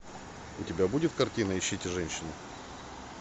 у тебя будет картина ищите женщину